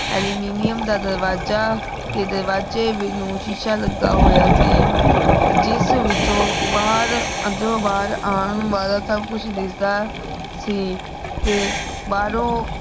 aluminium ਦਾ ਦਰਵਾਜ਼ਾ ਤੇ ਦਾਰ੍ਵਾਜ੍ਯ ਨੂ ਸ਼ੀਸ਼ਾ ਲਾਗ੍ਯ ਹੋਯਾ ਸੀ ਜਿਸ ਵਿਚੋ ਬਹਿਰ ਅੰਦਰੋਂ ਬਹਿਰ ਆਂ ਵਾਲਾ ਸਬ ਕੁਛ ਦਿਸਦਾ ਸੀ ਤੇ ਬਾਹਰੋਂ